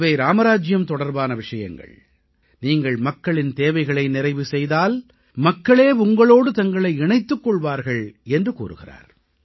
இவை ராமராஜ்ஜியம் தொடர்பான விஷயங்கள் நீங்கள் மக்களின் தேவைகளை நிறைவு செய்தால் மக்களே உங்களோடு தங்களை இணைத்துக் கொள்வார்கள் என்று கூறுகிறார்